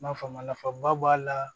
N m'a faamu nafaba b'a la